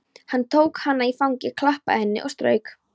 Hann tók hana í fangið, klappaði henni og strauk.